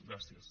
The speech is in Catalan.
gràcies